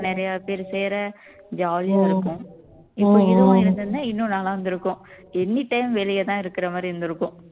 நிறைய பேர் சேர jolly யா இருக்கும் இன்னும் நல்லா இருந்திருக்கும் anytime வெளியதான் இருக்கற மாதிரி இருந்திருக்கும்